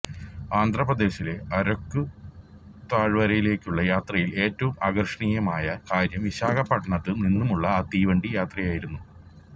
ആന്ധ്രാപ്രദേശിലെ അരക്കു താഴ്വരയിലേക്കുള്ള യാത്രയിലെ ഏറ്റവും ആകര്ഷണീയമായ കാര്യം വിശാഖപട്ടണത്തു നിന്നുമുള്ള ആ തീവണ്ടി യാത്രയായിരുന്നു